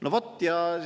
No vot!